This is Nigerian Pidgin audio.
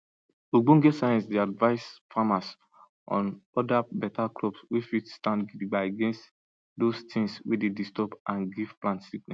ogbonge science dey advice farmers on other beta crop wey fit stand gidigba against those tings wey dey disturb and give plant sickness